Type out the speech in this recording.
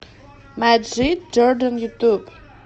маджид джордан ютуб